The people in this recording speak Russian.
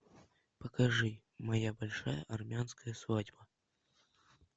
покажи моя большая армянская свадьба